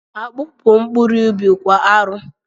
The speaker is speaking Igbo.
Akpu bụ mkpụrụ ubi kwa arọ